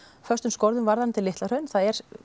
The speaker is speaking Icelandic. föstum skorðum varðandi Litla Hraun það